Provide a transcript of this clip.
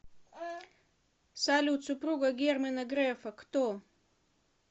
салют супруга германа грефа кто